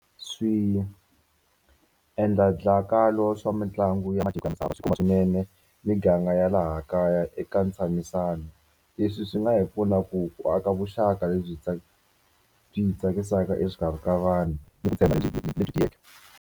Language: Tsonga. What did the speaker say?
swa mitlangu ya matiko ya misava swi khumba swinene miganga ya laha kaya eka ntshamisano. Leswi swi nga hi pfuna ku ku aka vuxaka lebyi byi byi hi tsakisaka exikarhi ka vanhu ni ku lebyi lebyi tiyeke.